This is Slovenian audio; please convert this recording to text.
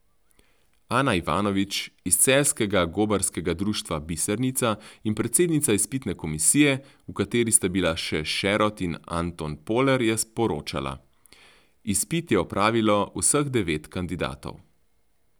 Ana Ivanovič iz celjskega Gobarskega društva Bisernica in predsednica izpitne komisije, v kateri sta bila še Šerod in Anton Poler, je poročala: 'Izpit je opravilo vseh devet kandidatov.